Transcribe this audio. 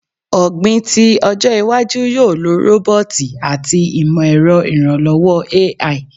Ogbin ti ojo iwaju yoo lo roboti ati imọ-ẹrọ iranlọwọ AI